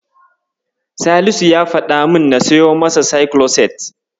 Salisu ya faɗa min na siyo masa Saikiloset.